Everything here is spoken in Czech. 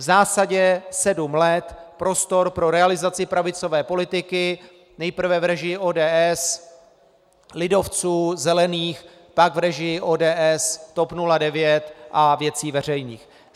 V zásadě sedm let prostor pro realizaci pravicové politiky, nejprve v režii ODS, lidovců, zelených, pak v režii ODS, TOP 09 a Věcí veřejných.